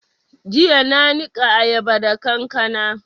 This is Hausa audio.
Jiya na niƙa ayaba da kankana